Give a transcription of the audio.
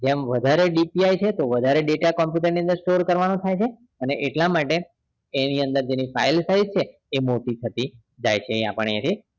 જેમ વધારે DPI છે તો વધારે data computer ની અંદર store કરવાનો થાય છે અને એટલા માટે એની અંદર એની જે file size છે એ મોટી થતી જાય છે અહિયાં આપણે